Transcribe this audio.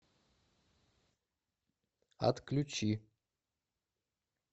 отключи